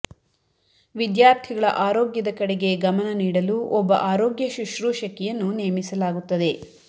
ವಿದ್ಯಾರ್ಥಿಗಳ ಆರೋಗ್ಯದ ಕಡೆಗೆ ಗಮನ ನೀಡಲು ಒಬ್ಬ ಆರೋಗ್ಯ ಶೂಶ್ರೂಷಕಿಯನ್ನು ನೇಮಿಸಲಾಗುತ್ತದೆ